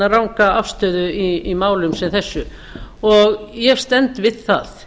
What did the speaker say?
ranga afstöðu í málum sem þessu og ég stend við það